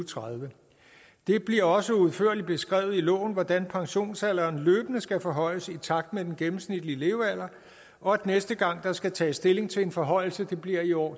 tredive det bliver også udførligt beskrevet i loven hvordan pensionsalderen løbende skal forhøjes i takt med den gennemsnitlige levealder og at næste gang der skal tages stilling til en forhøjelse bliver i år